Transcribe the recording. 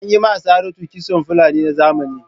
An yi ma Saratu kitson Fulani na zamani.